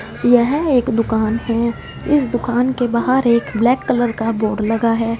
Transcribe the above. यह एक दुकान हैं इस दुकान के बाहर एक ब्लैक कलर का बोर्ड लगा है।